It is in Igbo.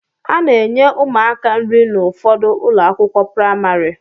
A na-enye ụmụaka nri n'ụfọdụ ụlọakwụkwọ pramarị